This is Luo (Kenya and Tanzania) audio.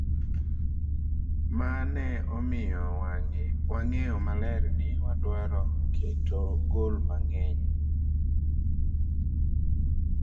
"""ma ne omiyo wang'eyo maler ni wadwaro keto goal mang'eny."